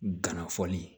Gana fɔɔni